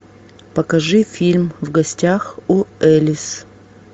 покажи фильм в гостях у элис